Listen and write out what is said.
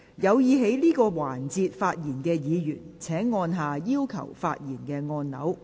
有意在這個環節發言的議員請按下"要求發言"按鈕。